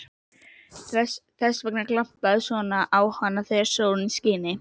Þess vegna glampaði svona á hana þegar sólin skini.